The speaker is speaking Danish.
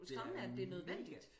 Det er mega